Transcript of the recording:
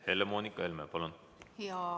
Helle-Moonika Helme, palun!